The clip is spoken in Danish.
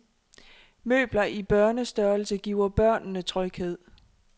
Møbler i børnestørrelse giver børnene tryghed.